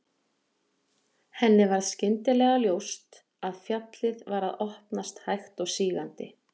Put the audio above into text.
Henni varð skyndilega ljóst að fjallið var að opnast hægt og sígandi.